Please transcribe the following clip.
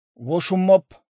«Woshummoppa.